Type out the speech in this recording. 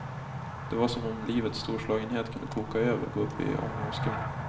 Det var som om livets storslagenhet kunde koka över och gå upp i ånga och skum.